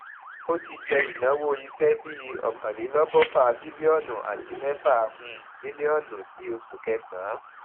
ó ti jẹ ìnáwó iṣẹ bíi ọkànlélọgọfà bílíọnù àti mẹfà um mílíònù ní oṣù kẹsànán